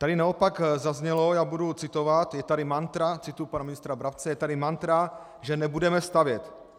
Tady naopak zaznělo, já budu citovat: Je tady mantra, cituji pana ministra Brabce, je tady mantra, že nebudeme stavět.